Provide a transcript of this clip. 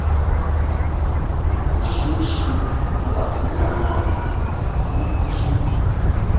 kò ṣeé ṣe láti rí àwọn àwòrán tí o gbé sórí